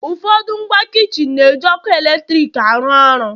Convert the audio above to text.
ụfọdụ ngwa kichin eme na-eji ọkụ eletrik arụ ọrụ